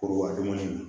Kuruba dɔɔnin